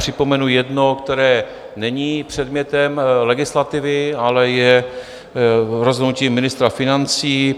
Připomenu jedno, které není předmětem legislativy, ale je rozhodnutím ministra financí.